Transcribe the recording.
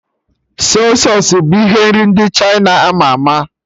Sọy sausụ bụ ihe nri ndị Chịna ama ama